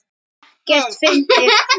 Ekkert fyndið!